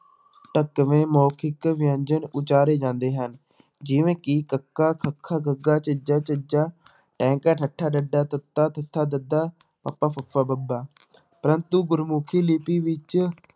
ਢੁਕਵੇਂ ਮੋਖਿਕ ਵਿਅੰਜਨ ਉਚਾਰੇ ਜਾਂਦੇ ਹਨ ਜਿਵੇਂ ਕਿ ਕੱਕਾ, ਖੱਖਾ, ਗੱਗਾ, ਜੱਜਾ, ਝੱਝਾ ਟੈਂਕਾ, ਠੱਠਾ, ਡੱਡਾ, ਤੱਤਾ, ਥੱਥਾ, ਦੱਦਾ, ਪੱਪਾ, ਫੱਫਾ, ਬੱਬਾ ਪ੍ਰੰਤੂ ਗੁਰਮੁਖੀ ਲਿਪੀ ਵਿੱਚ